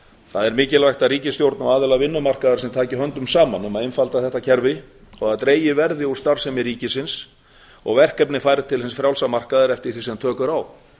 er mikilvægt að ríkisstjórn og aðilar vinnumarkaðar taki höndum saman um að einfalda þetta kerfi og að dregið verði úr starfsemi ríkisins og verkefni færð til hins frjálsa markaðar eftir því sem tök eru á